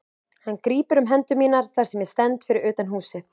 Hann grípur um hendur mínar þar sem ég stend fyrir utan húsið.